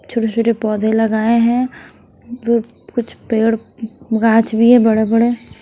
छोटे-छोटे पौधे लगाए हैं व कुछ पेड़ गाछ भी है बड़े-बड़े।